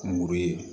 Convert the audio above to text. Kungurun ye